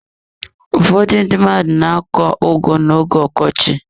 Ụfọdụ ndị mmadụ na akọ ugu na-oge ọkọchị.